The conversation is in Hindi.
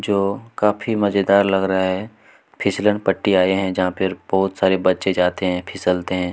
जो काफी मजेदार लग रहा है फिसलनपट्टी आए है जहा पे बोहोत सारे बच्चे है फिसलते है।